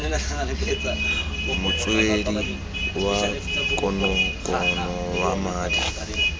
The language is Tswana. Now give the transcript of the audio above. motswedi wa konokono wa madi